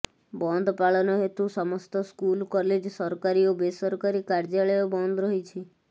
ବନ୍ଦ ପାଳନ ହେତୁ ସମସ୍ତ ସ୍କୁଲ କଲେଜ ସରକାରୀ ଓ ବେସରକାରୀ କାସର୍ଯ୍ୟାଳୟ ବନ୍ଦ ରହିଛି